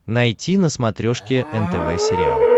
найти на смотрешке нтв сериал